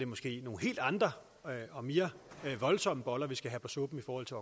måske nogle helt andre og mere voldsomme boller vi skal have på suppen i forhold til